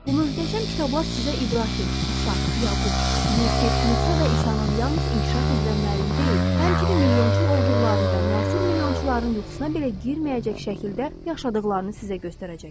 Bu möhtəşəm kitablar sizə İbrahim, İsaq, Yaqub, Yusif, Musa və İsanın yalnız inkişaf üzrə müəllim deyil, həmçinin milyonçu olduqlarını və müasir milyonçuların yuxusuna belə girməyəcək şəkildə yaşadıqlarını sizə göstərəcəkdir.